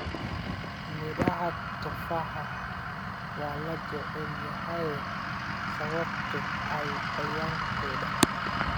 Midhaha tufaaxa waa la jecel yahay sababtoo ah qoyaan-kood.